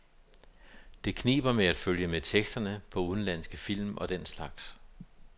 Det kniber med at følge med teksterne på udenlandske film og den slags.